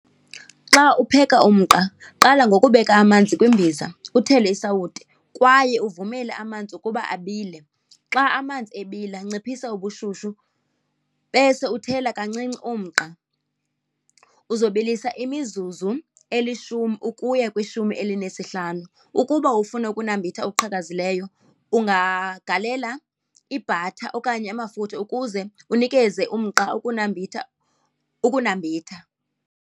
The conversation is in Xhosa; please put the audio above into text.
Xa upheka umqa qala ngokubeka amanzi kwimbiza, uthele isawuti, kwaye uvumele amanzi ukuba abile. Xa amanzi ebila nciphisa ubushushu, bese uthela kancinci umqa. Uzobilisa imizuzu elishumi ukuya kwishumi elinesihlanu. Ukuba ufuna ukunambitha okuqhakazileyo ungagalela i-butter okanye amafutha ukuze unikeze umqa ukunambitha, ukunambitha.